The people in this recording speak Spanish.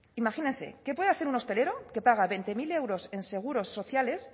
imagínese qué puede hacer un hostelero que paga veinte mil euros en seguros sociales